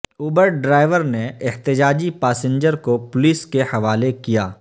Uber driver نے احتجاجی passenger کو پولیس کے حوالہ کیا